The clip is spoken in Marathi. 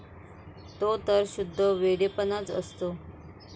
तो तर शुद्ध वेडेपणाच असतो.